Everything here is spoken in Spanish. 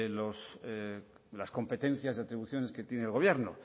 las competencias de atribuciones que tiene el gobierno